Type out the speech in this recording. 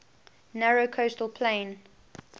narrow coastal plain